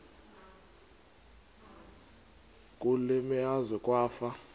kule meazwe kwafa